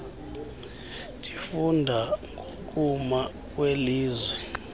ndifunda ngokuma kwelizwe